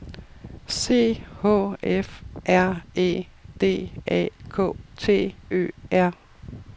C H E F R E D A K T Ø R